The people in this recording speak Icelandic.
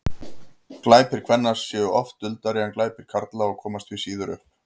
glæpir kvenna séu oft duldari en glæpir karla og komast því síður upp